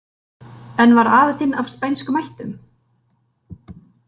En var afi þinn af spænskum ættum?